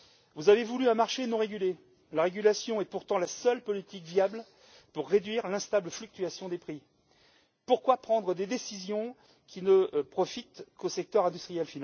Vous avez voulu un marché non régulé. La régulation est pourtant la seule politique viable pour réduire l'instable fluctuation des prix. Pourquoi prendre des décisions qui ne profitent finalement qu'au secteur industriel?